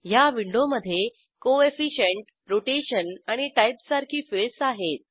ह्या विंडोमधे coefficient rotation आणि टाइप सारखी फिल्डस आहेत